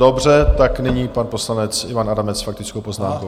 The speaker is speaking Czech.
Dobře, tak nyní pan poslanec Ivan Adamec s faktickou poznámkou.